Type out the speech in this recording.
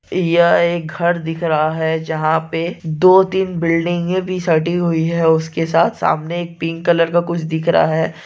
ये एक घर दिख रहा है जहाँ पे दो तीन बिल्डिंगे भी सटी हुई है उसके साथ सामने एक पिंक कलर का कुछ दिख रहा है।